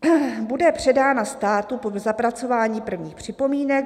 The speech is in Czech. "Bude předána státu po zapracování prvních připomínek.